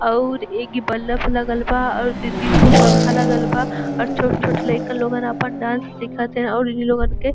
अउर एक ई बलफ लगल बा। अउर दू तीन ठो पंखा लगल बा अउर छोट-छोट लईका लोगन आपन डांस सिखत हैं और ई लोगन के --